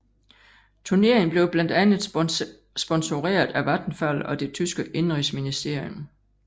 Turneringen blev blandt andet sponsoreret af Vattenfall og det tyske indenrigsministerium